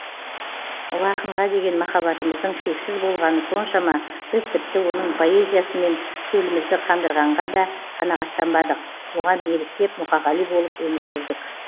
ұлы ақынға деген махаббатымыздың шексіз болғаны соншама біз тіпті оның поэзиясымен шөлімізді қандырғанға да қанағаттанбадық оған еліктеп мұқағали болып өмір сүрдік